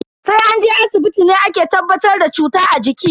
Sai an je asibiti ne ake tabbatar da cuta a jiki.